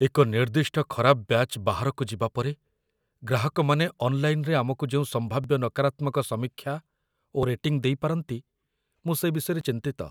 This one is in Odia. ଏକ ନିର୍ଦ୍ଦିଷ୍ଟ ଖରାପ ବ୍ୟାଚ୍ ବାହାରକୁ ଯିବା ପରେ ଗ୍ରାହକମାନେ ଅନ୍‌ଲାଇନ୍‌‌ରେ ଆମକୁ ଯେଉଁ ସମ୍ଭାବ୍ୟ ନକାରାତ୍ମକ ସମୀକ୍ଷା ଓ ରେଟିଂ ଦେଇପାରନ୍ତି, ମୁଁ ସେ ବିଷୟରେ ଚିନ୍ତିତ